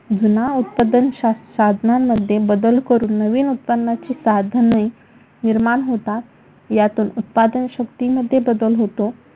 जुन्या उत्पादन साधनांमध्ये बदल करून नवीन उत्पन्नाचे साधने निर्माण होतात. यातून उत्पादन शक्तीमध्ये बदल होतो.